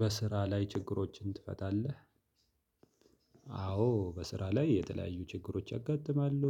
በስራ ላይ ችግሮችን ትፈታለህ? አዎ በስራ ላይ የተለያዩ ችግሮች ያጋጥማሉ።